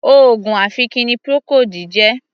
Oògùn ọ̀fìnkì ni Procold jẹ́.